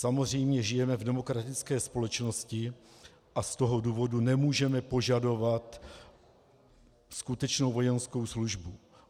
Samozřejmě žijeme v demokratické společnosti a z toho důvodu nemůžeme požadovat skutečnou vojenskou službu.